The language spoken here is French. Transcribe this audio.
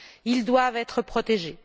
Ils doivent être protégés.